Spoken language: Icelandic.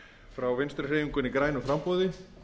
frá vinstri hreyfingunni grænu framboði